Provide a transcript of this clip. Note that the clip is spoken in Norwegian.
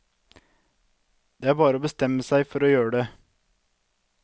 Det er bare å bestemme seg for å gjøre det.